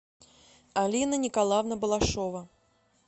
алина николаевна балашова